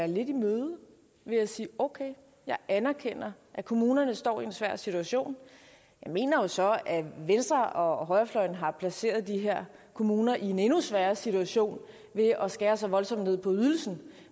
lidt i møde ved at sige okay jeg anerkender at kommunerne står i en svær situation jeg mener jo så at venstre og højrefløjen har placeret de her kommuner i en endnu sværere situation ved at skære så voldsomt ned på ydelsen